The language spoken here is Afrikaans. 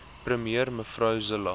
premier mev zille